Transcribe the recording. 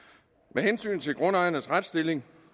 med hensyn til grundejernes retsstilling